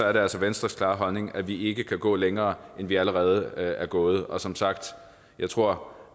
er det altså venstres klare holdning at vi ikke kan gå længere end vi allerede er gået og som sagt jeg tror